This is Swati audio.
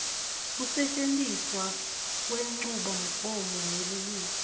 kusetjentiswa kwenchubomgomo yelulwimi